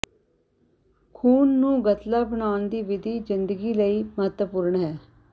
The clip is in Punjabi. ਖੂਨ ਦਾ ਗਤਲਾ ਬਣਾਉਣ ਦੀ ਵਿਧੀ ਜ਼ਿੰਦਗੀ ਲਈ ਮਹੱਤਵਪੂਰਣ ਹੈ